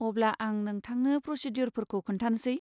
अब्ला, आं नोंथांनो प्र'सिदिय'रफोरखौ खोन्थानोसै।